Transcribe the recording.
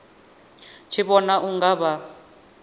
tshi vhona u nga vha